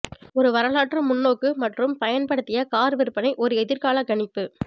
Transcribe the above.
ஒரு வரலாற்று முன்னோக்கு மற்றும் பயன்படுத்திய கார் விற்பனை ஒரு எதிர்கால கணிப்பு